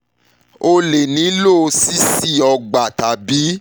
o lè nílò ṣíṣí ọgbà tàbí